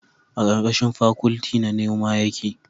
a karkashin fakwalti na noma yake